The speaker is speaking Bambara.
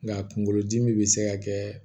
Nka kunkolodimi bɛ se ka kɛ